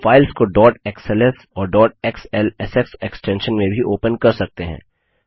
आप फाइल्स को dot XLS और डॉट एक्सएलएसएक्स एक्स्टेंशन में भी ओपन कर सकते हैं